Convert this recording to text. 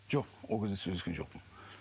жоқ ол кезде сөйлескен жоқпын